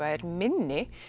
er minni